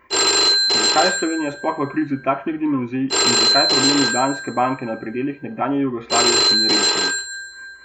Zakaj je Slovenija sploh v krizi takšnih dimenzij in zakaj problem Ljubljanske banke na predelih nekdanje Jugoslavije še ni rešen?